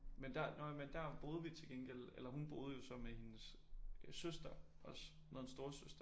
Men der nå ja men der boede vi til gengæld eller hun boede jo så med sin søster også. Hun havde en storesøster